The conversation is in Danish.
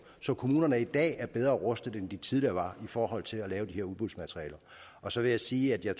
så kommunerne i dag er bedre rustet end de var tidligere i forhold til at lave det her udbudsmateriale og så vil jeg sige at jeg